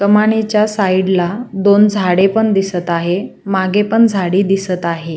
कमानीच्या साइड ला दोन झाडे पण दिसत आहे मागे पण झाडी दिसत आहे.